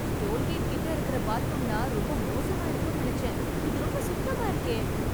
Tollgate கிட்ட இருக்கற பாத்ரூமுன்னா ரொம்ப மோசமா இருக்கும்னு நெனச்சேன். இது ரொம்ப சுத்தமா இருக்கே!